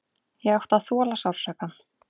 Ég ætti að þola sársaukann.